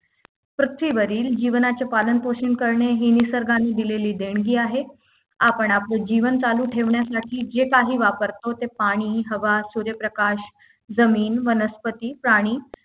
पृथ्वीवरील जीवनाचे पालन पोषण करणे हे निसर्गाने दिलेली देणगी आहे आपण आपले जीवन चालू ठेवण्यासाठी जे काही वापरतो ते पाणी हवा सूर्यप्रकाश जमीन वनस्पती प्राणी